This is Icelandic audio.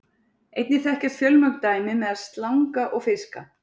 Einnig þekkjast fjölmörg dæmi meðal slanga og fiska.